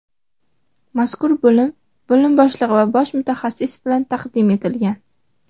Mazkur bo‘lim bo‘lim boshlig‘i va bosh mutaxassis bilan taqdim etilgan.